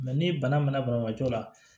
ni bana mɛna banabaatɔ la